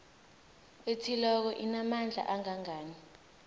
ethileko inamandla angangani